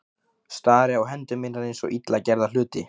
Stari á hendur mínar eins og illa gerða hluti.